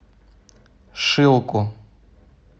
шилку